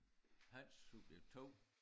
Hans subjekt 2